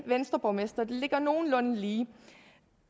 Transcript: venstreborgmestre det ligger nogenlunde lige